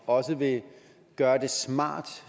også vil gøre det smart